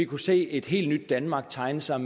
kunne se et helt nyt danmark tegne sig